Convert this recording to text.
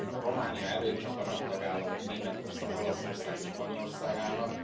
Románia előtt csak a nagy tagállamok, Németország, Olaszország és Spanyolország állnak.